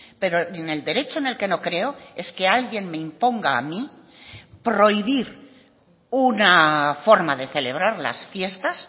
pero en el derecho en el que no creo es que alguien me imponga a mí prohibir una forma de celebrar las fiestas